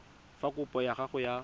fa kopo ya gago ya